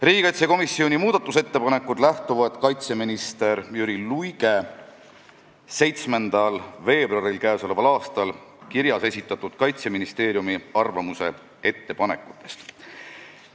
Riigikaitsekomisjoni muudatusettepanekud lähtuvad kaitseminister Jüri Luige k.a 7. veebruari kirjas esitatud Kaitseministeeriumi arvamuse ettepanekutest.